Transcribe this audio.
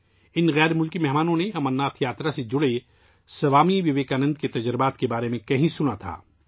ان غیر ملکی مہمانوں نے امرناتھ یاترا سے متعلق سوامی وویکانند کے تجربات کے بارے میں کہیں سنا تھا